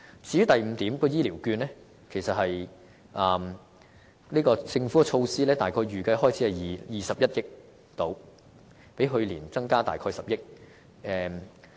至於第五點提到的醫療券，政府在這項措施的預算開支約為21億元，較去年約增加10億元。